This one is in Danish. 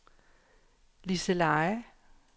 Liseleje